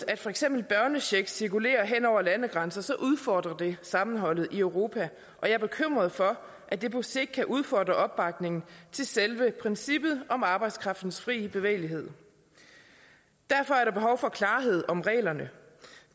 at for eksempel børnechecks cirkulerer hen over landegrænserne udfordrer det sammenholdet i europa og jeg er bekymret for at det på sigt kan udfordre opbakningen til selve princippet om arbejdskraftens fri bevægelighed derfor er der behov for klarhed om reglerne